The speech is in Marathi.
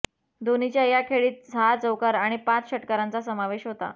धोनीच्या या खेळीत सहा चौकार आणि पाच षटकारांचा समावेश होता